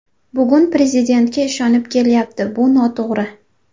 Bugun Prezidentga ishonib kelyapti, bu noto‘g‘ri.